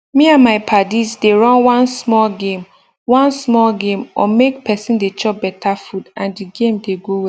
me and my padis dey run one small game one small game on make person dey chop better food and d game dey go well